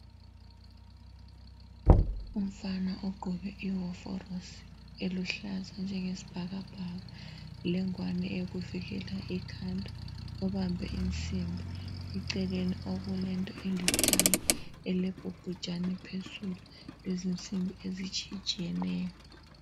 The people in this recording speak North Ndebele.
Umfana ogqoke iwovorosi eluhlaza njenge sibhakabhaka, lengwane eyokuvikela ikhanda. ubambe insimbi. Eceleni okule nto elithanga elebhobhojani phezulu, lezinsimbi ezitshiyatshiyeneyo.